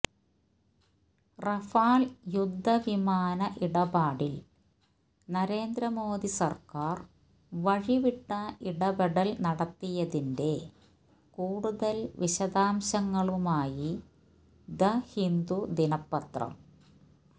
Rafale യുദ്ധവിമാന ഇടപാടില് നരേന്ദ്ര മോദി സര്ക്കാര് വഴിവിട്ട ഇടപെടല് നടത്തിയതിന്റെ കൂടുതല് വിശദാംശങ്ങളുമായി ദ് ഹിന്ദു ദിനപ്പത്രം